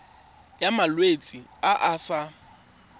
ya malwetse a a sa